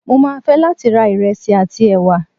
mo ma fe latí ra iresí atí ewá